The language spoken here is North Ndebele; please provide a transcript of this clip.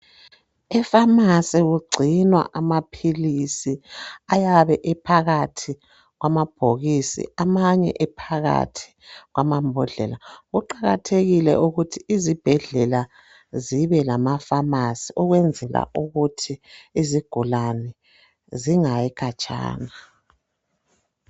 Efamasi kugcinwa amaphilisi ayabe ephakathi kwamabhokisi amanye ephakathi kwabhodlela kuqakathekile ukuthi izibhedlela zibelamafamasi ukwenzela ukuthi izigulani zingayi khatshana